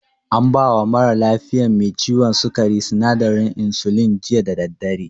An bawa mara lafiyan me ciwon sukari sinadarin insulin, jiya da daddare.